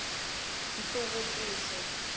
nhluvukiso